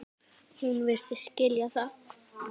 Hún virtist skilja það.